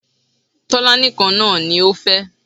Tọ́lání kan náà ni ó fẹ́